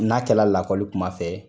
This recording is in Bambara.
N'a kɛlɛ lakɔli kuma fɛ